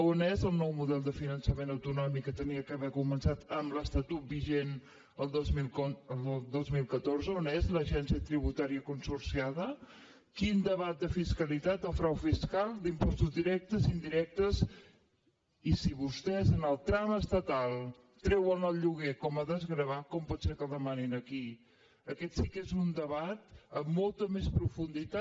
on és el nou model de finançament autonòmic que havia d’haver començat amb l’estatut vigent el dos mil catorze on és l’agència tributària consorciada quin debat de fiscalitat o frau fiscal d’impostos directes indirectes i si vostès en el tram estatal treuen el lloguer com a desgravar com pot ser que el demanin aquí aquest sí que és un debat amb molta més profunditat